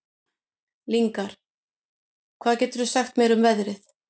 Lyngar, hvað geturðu sagt mér um veðrið?